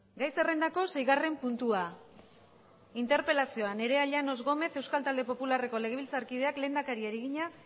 gai zerrendako seigarren puntua interpelazioa nerea llanos gómez euskal talde popularreko legebiltzarkideak lehendakariari egina